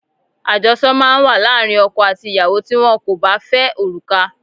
Ajosọ máa ń wà láàárín ọkọ àti ìyàwó tí wón kò bá fẹ́ òrùka.